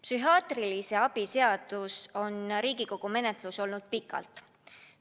Psühhiaatrilise abi seadus on Riigikogu menetluses olnud pikalt.